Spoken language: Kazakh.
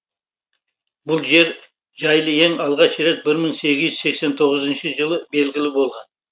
бұл жер жайлы ең алғаш рет бір мың сегіз жүз сексен тоғызыншы жылы белгілі болған